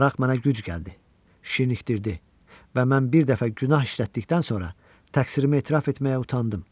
Maraq mənə güc gəldi, şirnikdirdi və mən bir dəfə günah işlətdikdən sonra təqsirimi etiraf etməyə utandım.